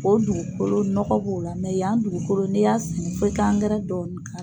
o dugukolo nɔgɔ b'o la yan dugukolo n'e y'a sɛnɛ f'i ka angɛrɛ dɔɔnin k'a l